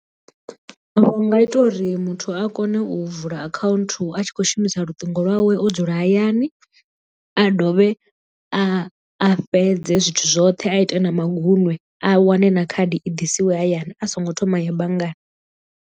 Vhu nga ita uri muthu a kone u vula account a tshi khou shumisa luṱingo lwawe o dzula hayani a dovhe a a fhedze zwithu zwoṱhe a ite na maguṅwe a wane na khadi i ḓisiwe hayani a songo thoma ya banngani.